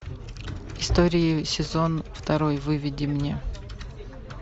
истории сезон второй выведи мне